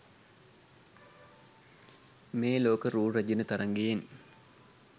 මේ ලෝක රූ රැජිණ තරගයෙන්